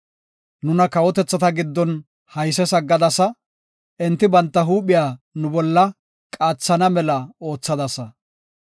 Nuna kawotethata giddon hayses aggadasa; enti banta huuphiya nu bolla qaathana mela oothadasa.